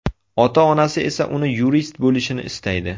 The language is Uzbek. Ota-onasi esa uni yurist bo‘lishini istaydi.